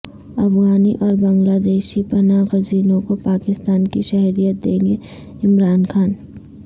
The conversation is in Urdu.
افغانی اور بنگلہ دیشی پناہ گزینوں کو پاکستان کی شہریت دیں گےعمران خان